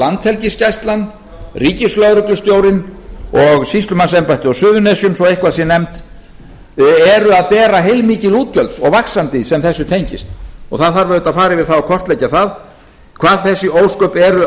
landhelgisgæslan ríkislögreglustjórinn og sýslumannsembættið á suðurnesjum svo eitthvað sé nefnt eru að bera heilmikil útgjöld og vaxandi sem þessu tengist og það þarf auðvitað að fara yfir það og kortleggja það hvað þessi ósköp eru